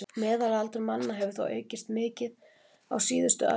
Meðalaldur manna hefur þó aukist mikið á síðustu öld.